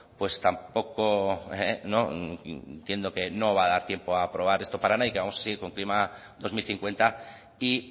pues tampoco entiendo que no va a dar tiempo a aprobar esto para nada y que vamos a seguir con clima dos mil cincuenta y